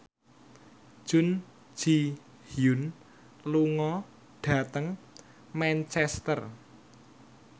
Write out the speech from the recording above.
Jun Ji Hyun lunga dhateng Manchester